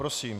Prosím.